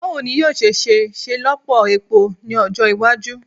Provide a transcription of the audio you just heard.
Bawo ni yoo ṣe ṣelọpọ epo ni ọjọ iwaju